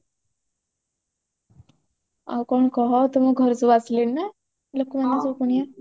ଆଉ କଣ କହ ତମ ଘରେ ସବୁ ଆସିଲେଣି ନା ଲୋକମାନେ ସବୁ କୁଣିଆ